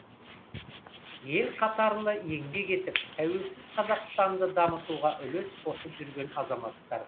ел қатарлы еңбек етіп тәуелсіз қазақстанды дамытуға үлес қосып жүрген азаматтар